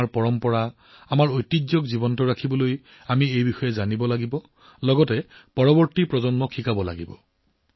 আমাৰ পৰম্পৰা আমাৰ ঐতিহ্যক জীয়াই ৰাখিবলৈ আমি সেইবোৰ বচাব লাগিব জীয়াই থাকিব লাগিব পৰৱৰ্তী প্ৰজন্মক শিকাব লাগিব